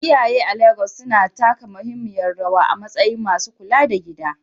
Iyaye a Legas suna taka muhimmiyar rawa a matsayin masu kula da gida.